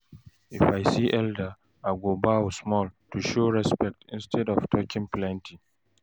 If I see elder, I go bow small to show respect instead of talk plenty.